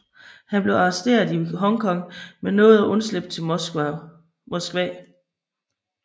Han blev arresteret i Hong Kong men nåede at undslippe til Moskva